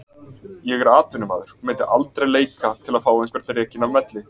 Ég er atvinnumaður og myndi aldrei leika til að fá einhvern rekinn af velli.